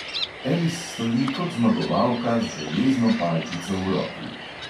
Elis stoji kot zmagovalka z železno palčico v roki.